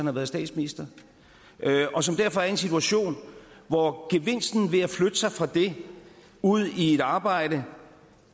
har været statsminister og som derfor er i en situation hvor gevinsten ved at flytte fra sig fra det ud i et arbejde